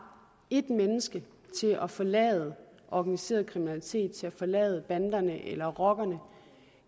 et menneske til at forlade organiseret kriminalitet til at forlade banderne eller rockerne